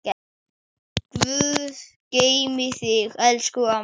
Guð geymi þig, elsku amma.